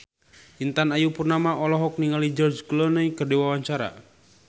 Intan Ayu Purnama olohok ningali George Clooney keur diwawancara